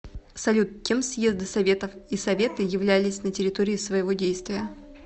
салют кем съезды советов и советы являлись на территории своего действия